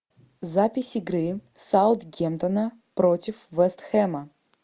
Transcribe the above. запись игры саутгемптона против вест хэма